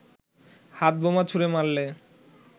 হাতবোমা ছুঁড়ে মারলে